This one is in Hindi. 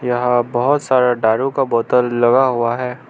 यहां बहोत सारा डारू का बोतल लगा हुआ है।